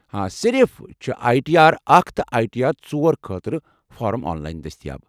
آ۔ صرف چھِ آیی ٹی آر اکھ تہٕ آیی ٹی آر ژور خٲطرٕ چھِ فارم آن لاین دٔستِیاب۔